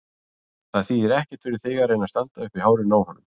Það þýðir ekkert fyrir þig að reyna að standa uppi í hárinu á honum.